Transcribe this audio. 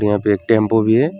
यहां पे एक टेम्पु भी है।